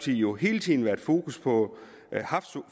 jo hele tiden haft fokus på